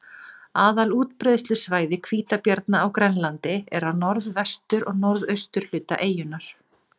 Aðal útbreiðslusvæði hvítabjarna á Grænlandi er á norðvestur- og norðausturhluta eyjunnar.